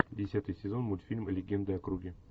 десятый сезон мультфильм легенды о круге